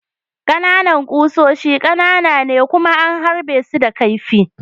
Ƙananan kusoshi ƙanana ne kuma an harbe su da kaifi.